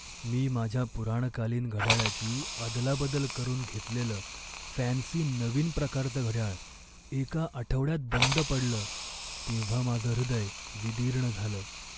मी माझ्या पुराणकालीन घड्याळाची अदलाबदल करून घेतलेलं फॅन्सी नवीन प्रकारचं घडयाळ एका आठवड्यात बंद पडलं तेव्हा माझं हृदय विदीर्ण झालं.